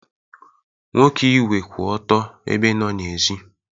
Nwoke igwe kwụ otu ebe nọ n'èzí.